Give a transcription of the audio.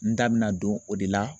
N da bɛna don o de la